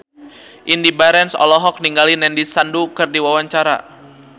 Indy Barens olohok ningali Nandish Sandhu keur diwawancara